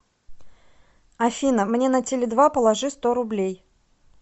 афина мне на теле два положи сто рублей